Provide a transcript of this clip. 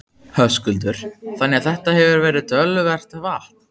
Höskuldur: Þannig að þetta hefur verið töluvert vatn?